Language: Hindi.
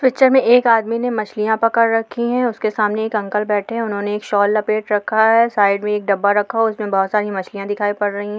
पिक्चर में एक आदमी ने मछलियाँ पकड़ रखी है उसके सामने एक अंकल बैठे हैं उन्होंने एक शॉल लपेट रखा है साइड में एक डब्बा रखा हुआ है उसमें बहुत सारी मछलियाँ दिखाई पड़ रहीं हैं।